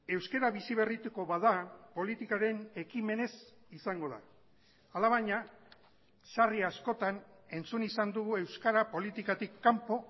euskara bizi berrituko bada politikaren ekimenez izango da alabaina sarri askotan entzun izan dugu euskara politikatik kanpo